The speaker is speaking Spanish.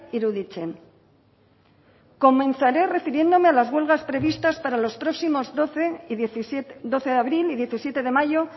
iruditzen comenzaré refiriéndome a las huelgas previstas para los próximos doce de abril y diecisiete de mayo